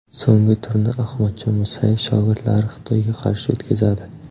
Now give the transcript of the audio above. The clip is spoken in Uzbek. So‘nggi turni Ahmadjon Musayev shogirdlari Xitoyga qarshi o‘tkazadi.